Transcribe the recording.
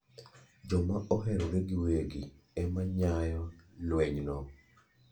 Joma oherore gi wegi ema nyao klweny no.